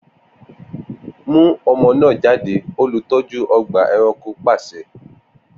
Mu ọmọ naa jade, olutọju ọgba ẹranko paṣẹ!